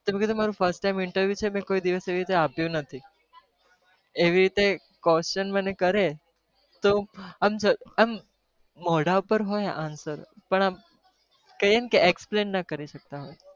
તો મેં કીધું મારું fast time interview છે મેં કોઈ દિવસ આપ્યું નથી, એવી રીતે question મને કરે તો આમ આમ મોઢા ઉપર હોય answer પણ આમ કહીએ ને કે explain ના કરી સકતા હોય.